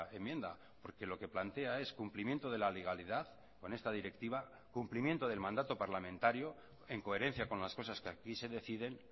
enmienda porque lo que plantea es cumplimiento de la legalidad con esta directiva cumplimiento del mandato parlamentario en coherencia con las cosas que aquí se deciden